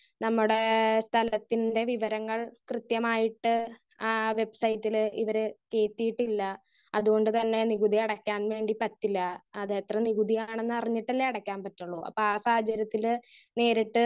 Speaker 1 നമ്മടെ ഏഹ് സ്ഥലത്തിന്റെ വിവരങ്ങള് കൃത്യമായിട്ട് ആഹ് വെബ്സൈറ്റില് ഇവര് കേറ്റിയിട്ടില്ല. അതുകൊണ്ട് തന്നെ നികുതി അടക്കാൻ വേണ്ടി പറ്റില്ല. അത് എത്ര നികുതിയാണെന്ന് അറിഞ്ഞിട്ടല്ലെ അടക്കാൻ പറ്റൊള്ളു. അപ്പൊ ആ സാഹചര്യത്തില് നേരിട്ട്